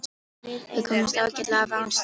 Við komumst ágætlega af án stráka.